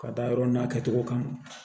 Ka da yɔrɔ n'a kɛcogo kan